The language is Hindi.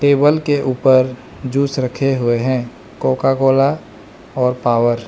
टेबल के ऊपर जूस रखे हुए हैं कोका-कोला और पावर ।